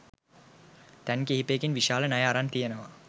තැන් කිහිපයකින් විශාල ණය අරන් තියෙනවා.